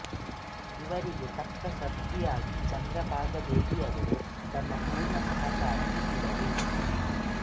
ಇವರಿಗೆ ತಕ್ಕ ಸತಿಯಾಗಿ ಚಂದ್ರಭಾಗಾದೇವಿಯವರೂ ತಮ್ಮ ಪೂರ್ಣ ಸಹಕಾರ ನೀಡಿದರು